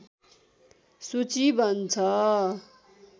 सूचि बन्छ